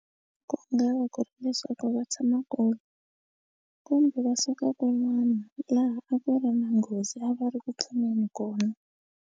Ku nga va ku ri leswaku va tshama kona kumbe va suka kun'wana laha a ku ri na nghozi a va ri ku pfuneni kona.